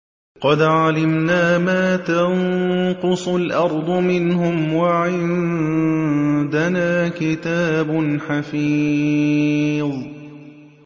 قَدْ عَلِمْنَا مَا تَنقُصُ الْأَرْضُ مِنْهُمْ ۖ وَعِندَنَا كِتَابٌ حَفِيظٌ